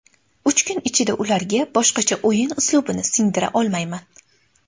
Uch kun ichida ularga boshqacha o‘yin uslubini singdira olmayman.